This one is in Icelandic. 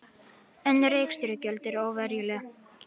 Önnur rekstrargjöld eru óveruleg